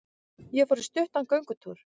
Ég fór í stuttan göngutúr.